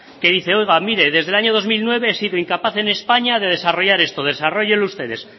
que dice oiga mire desde el año dos mil nueve he sido incapaz en españa de desarrollar esto desarróllenlo ustedes